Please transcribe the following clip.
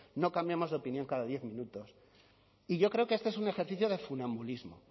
no cambiamos de opinión cada diez minutos y yo creo que este es un ejercicio de funambulismo